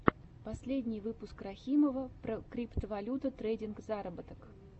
последний выпуск рахимова про криптовалюта трейдинг заработок